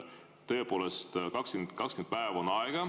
Tõepoolest, 20 päeva on aega.